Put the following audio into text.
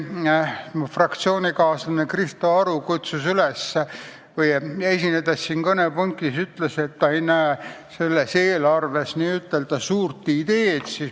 Mu fraktsioonikaaslane Krista Aru ütles siin kõnepuldis, et ta ei näe selles eelarves n-ö suurt ideed.